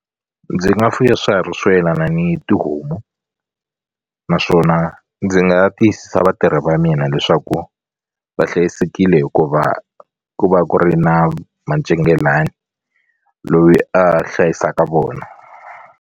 Ndzi nga fuya swiharhi swo yelana ni tihomu naswona ndzi nga tiyisisa vatirhi va mina leswaku va hlayisekile hikuva ku va ku ri na macingelani loyi a hlayisaka vona.